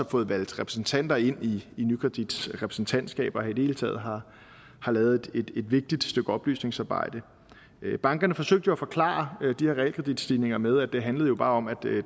fået valgt repræsentanter ind i nykredits repræsentantskab og i det hele taget har lavet et vigtigt stykke oplysningsarbejde bankerne forsøgte jo at forklare de her realkreditstigninger med at det bare handlede om at